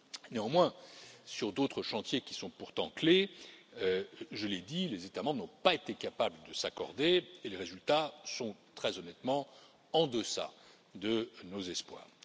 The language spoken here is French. Néanmoins, sur d'autres chantiers, qui sont pourtant essentiels, je l'ai dit, les États membres n'ont pas été capables de s'accorder et les résultats sont très honnêtement en deçà de nos espoirs.